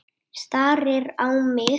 Starir á mig.